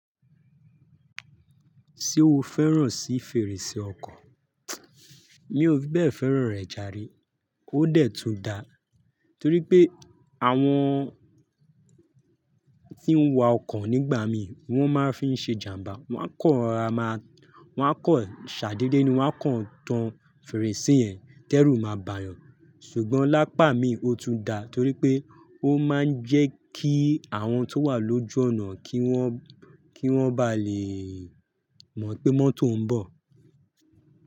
Ṣé o fẹ́ràn sí fèrèsé ọkọ̀? Mi ò fi bẹ́ẹ̀ fẹ́ràn rẹ̀ járe. Ó dẹ̀ tun da torí pé àwọn tí ń wa ọkọ̀ nígbà mí wọ́n máa ń fi ṣe ìjàmbá. Wọ́n kọ́ ara máa, wọ́n kọ́ ṣàdede ni wọ́n kọ́ ń tan fèrèsé yẹn. Tẹ́rù máa bà yàn. Ṣùgbọ́n lápá mi, ó tún da torí pé ó máa ń jẹ́ kí àwọn tó wà lójú ọ̀nà kí wọ́n, kí wọ́n bá lè mọ̀ pé mọ́tò ń bọ̀.